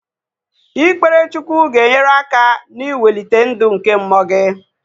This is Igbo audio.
Ikpere Chukwu ga-enyere aka na-iwelite ndụ nke mmụọ gị